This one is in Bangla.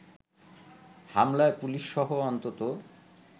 হামলায় পুলিশসহ অন্তত